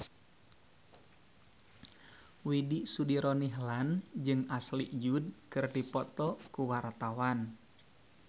Widy Soediro Nichlany jeung Ashley Judd keur dipoto ku wartawan